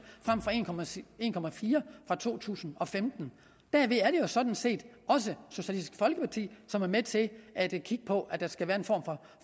frem for en procent fra to tusind og femten derved er det jo sådan set også socialistisk folkeparti som er med til at kigge på at der skal være en form